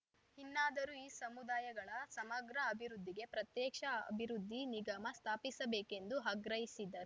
ಇನ್ನಾದರೂ ಈ ಸಮುದಾಯಗಳ ಸಮಗ್ರ ಅಭಿವೃದ್ಧಿಗೆ ಪ್ರತ್ಯೇಕ್ಷ ಅಭಿವೃದ್ಧಿ ನಿಗಮ ಸ್ಥಾಪಿಸಬೇಕೆಂದು ಅಗ್ರಹಿಸಿದ್ದರು